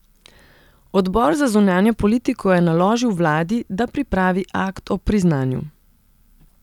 Odbor za zunanjo politiko je naložil vladi, da pripravi akt o priznanju.